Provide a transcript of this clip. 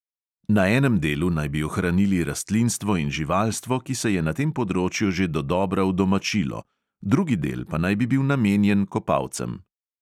Na enem delu naj bi ohranili rastlinstvo in živalstvo, ki se je na tem področju že dodobra udomačilo, drugi del pa naj bi bil namenjen kopalcem.